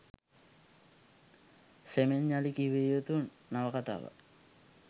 සෙමෙන් යළි කියවිය යුතු නවකතාවක්